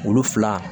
Olu fila